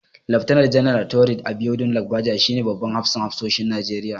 Laftanar Janar Taoreed Abiodun Lagbaja shi ne babban hafsan hafsoshin Najeriya.